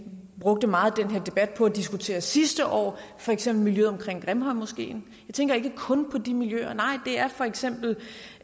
brugte meget af den her debat på at diskutere sidste år for eksempel miljøet omkring grimhøjmoskeen jeg tænker ikke kun på de miljøer nej det er for eksempel